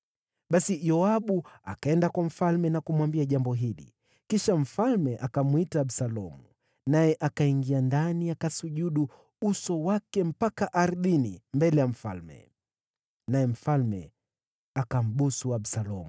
Basi Yoabu akaenda kwa mfalme na kumwambia jambo hili. Kisha mfalme akamwita Absalomu, naye akaingia ndani akasujudu uso wake mpaka ardhini mbele ya mfalme. Naye mfalme akambusu Absalomu.